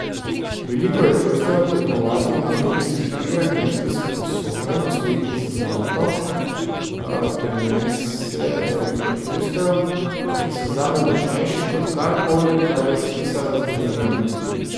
Veliko je čustev, tekmovati na olimpijskih igrah in biti sposoben osvojiti zlato prinese toliko čustev, ki so zame močnejši kot karkoli, kar je spisala zgodovina.